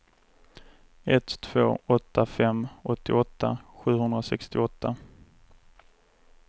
ett två åtta fem åttioåtta sjuhundrasextioåtta